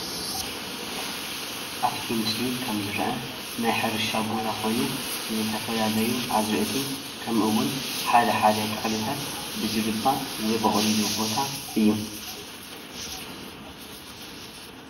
ኣብቲ ምስሊ ከም ዝረአ ናይ ሕርሻ ቦታ ኮይኑ ዝተፈላለዩ ኣዝርእቲ ከምኡ እውን ሓደ ሓደ ተክልታት ብዝግባእ ዝበቑልሉ ቦታ እዩ፡፡